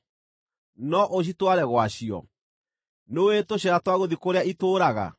No ũcitware gwacio? Nĩũũĩ tũcĩra twa gũthiĩ kũrĩa itũũraga?